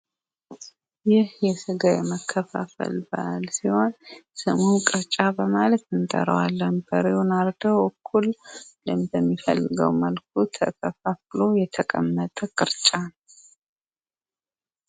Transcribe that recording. ይህ የስጋ መከፋፈል ባህል ሲሆን ስሙን ቅርጫ በማለት እንጠራዋለን። ብሬውን አርደው እኩል በሚፈለገው መልኩ ተከፋፍሎ የተቀመጠ ቅርጫ ነው።